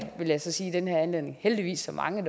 vil jeg så sige i den her anledning heldigvis så mange